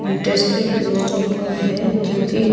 interested लोगों का है जो की--